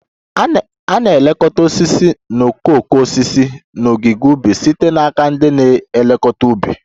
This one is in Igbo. A na-elekọta osisi na okooko osisi n'ogige ubi site n'aka ndị na-elekọta ubi